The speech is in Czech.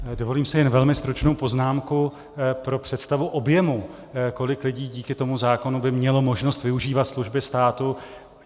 Dovolím si jen velmi stručnou poznámku pro představu objemu, kolik lidí díky tomu zákonu by mělo možnost využívat služby státu.